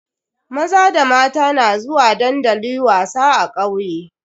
Maza da mata na zuwa dandali wasa a kauye.